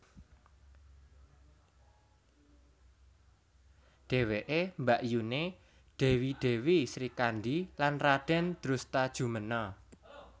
Dheweke mbakyuné Dèwi Dèwi Srikandhi lan Radèn Drustajumena